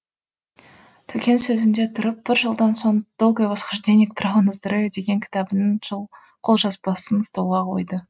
төкең сөзінде тұрып бір жылдан соң долгое восхождение к праву на здоровье деген кітабының жол қолжазбасын столға қойды